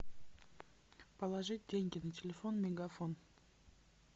положить деньги на телефон мегафон